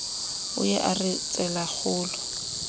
o ye a re tselakgolo